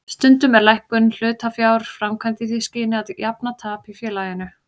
Stundum er lækkun hlutafjár framkvæmd í því skyni að jafna tap í félaginu.